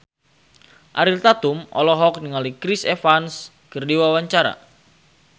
Ariel Tatum olohok ningali Chris Evans keur diwawancara